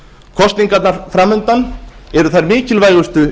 kosningarnar fram undan eru þær mikilvægustu